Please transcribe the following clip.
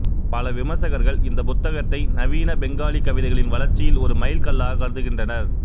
பல விமர்சகர்கள் இந்த புத்தகத்தை நவீன பெங்காலி கவிதைகளின் வளர்ச்சியில் ஒரு மைல்கல்லாக கருதுகின்றனர்